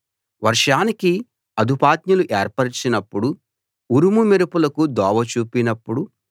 వర్షానికి అదుపాజ్ఞలు ఏర్పరచినప్పుడు ఉరుము మెరుపులకు దోవ చూపినప్పుడు